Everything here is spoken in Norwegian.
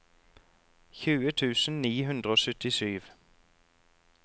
tjue tusen ni hundre og syttisju